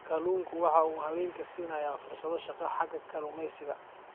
Kalluunku waxa uu haweenka siinayaa fursado shaqo xagga kalluumaysiga.